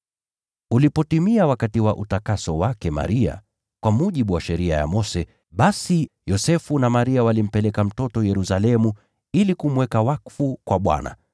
Ulipotimia wakati wa utakaso wake Maria kwa mujibu wa Sheria ya Mose, basi Yosefu na Maria walimpeleka mtoto Yerusalemu, ili kumweka wakfu kwa Bwana